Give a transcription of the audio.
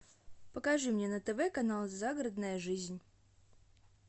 покажи мне на тв канал загородная жизнь